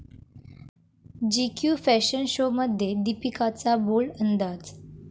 GQ fashion शोमध्ये दीपिकाचा bold अंदाज